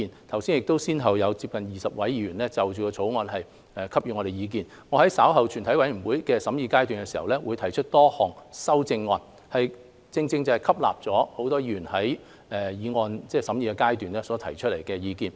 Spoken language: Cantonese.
剛才先後有20多位議員就《條例草案》發表意見，我稍後在全體委員會審議階段提出的多項修正案，正是吸納了多位委員在《條例草案》審議階段所提出的意見。